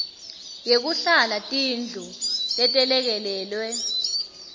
yekuhlala tindlu letelekelelwe